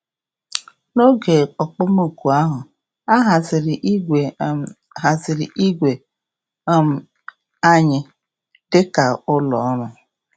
N’oge okpomọkụ ahụ, a haziri igwe um haziri igwe um anyị dị ka ụlọọrụ.